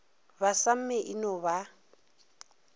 ba samme e no ba